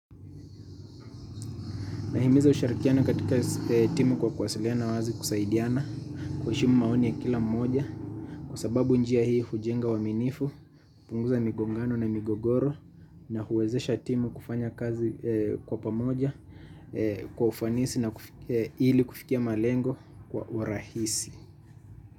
Nahimiza ushirikiano katika timu kwa kuwasiliana wazi kusaidiana kuheshimu maoni ya kila mmoja kwa sababu njia hii hujenga uaminifu, hupunguza migongano na migogoro na huwezesha timu kufanya kazi kwa pamoja kwa ufanisi na ili kufikia malengo kwa urahisi.